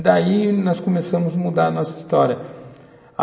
Daí, nós começamos a mudar a nossa história, a